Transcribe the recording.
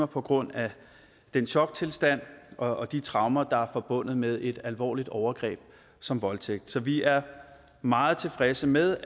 på grund af den choktilstand og de traumer der er forbundet med et alvorligt overgreb som voldtægt så vi er meget tilfredse med